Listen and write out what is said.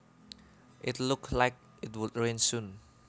It looked like it would rain soon